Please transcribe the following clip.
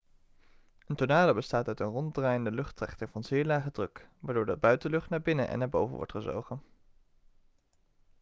een tornado bestaat uit een ronddraaiende luchttrechter van zeer lage druk waardoor de buitenlucht naar binnen en naar boven wordt gezogen